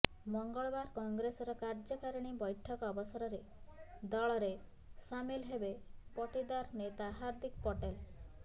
ମଙ୍ଗଳବାର କଂଗ୍ରେସର କାର୍ଯ୍ୟକାରିଣୀ ବୈଠକ ଅବସରରେ ଦଳରେ ସାମିଲ ହେବେ ପଟିଦାର ନେତା ହାର୍ଦ୍ଦିକ ପଟେଲ